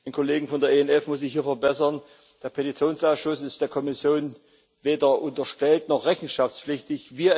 Den Kollegen von der ENF muss ich hier verbessern Der Petitionsausschuss ist der Kommission weder unterstellt noch rechenschaftspflichtig.